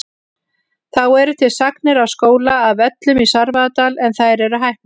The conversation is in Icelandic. Þá eru til sagnir af skóla að Völlum í Svarfaðardal en þær eru hæpnar.